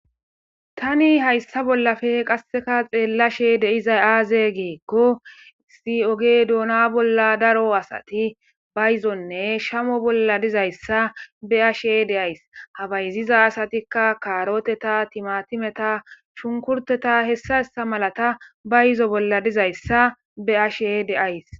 tani hayssa bollafe qasseka xeellashe de'izay aaze giikko si7oge doona bolla daro asati bayizonne shamo bolla dizayssa be ashe deays habayziza asatikka kaaroteta timatimeta shunkurteta hessahessa malata ba yizo bolla dizayssa be ashe deays